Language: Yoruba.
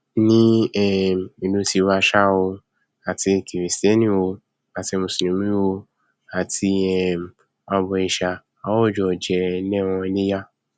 ní um ìlú tiwa ṣá o àti kìrìstẹnì o àti mùsùlùmí o àti um abọìṣà o àjọjẹ lẹran iléyá